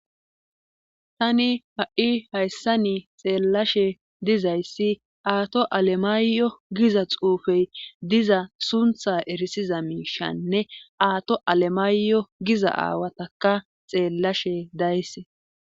tani ha'i hayssani xeellashe dizayssi aato alemaayo giza xuufey diza suntha erisiza miishanne aato alemaayo giza aawataka xeellashe dayse